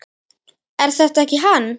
Er þetta ekki hann